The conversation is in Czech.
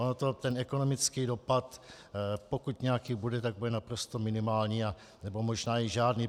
On ten ekonomický dopad, pokud nějaký bude, tak bude naprosto minimální nebo možná i žádný.